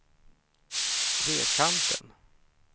Trekanten